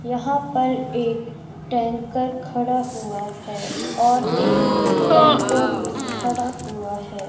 यहां पर एक टैंकर खड़ा हुआ है और एक टेंपो भी खड़ा हुआ है।